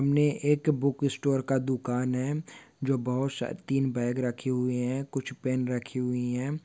इनमे एक book store का दुकान है जो बहूत सा तीन बॅग रखी हुई है कुछ पेन रखी हुई है।